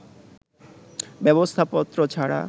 ব্যবস্থাপত্র ছাড়া